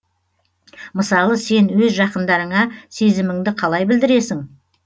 мысалы сен өз жақындарыңа сезіміңді қалай білдіресің